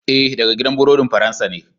Ee, daga gidan burodin Faransa ne.